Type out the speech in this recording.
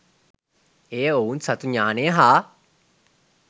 එය ඔවුන් සතු ඤාණය හා